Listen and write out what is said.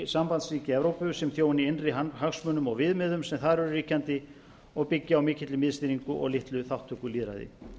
sambandsríki evrópu sem þjóni innri hagsmunum og viðmiðum sem þar eru ríkjandi og byggja á mikilli miðstýringu og litlu þátttökulýðræði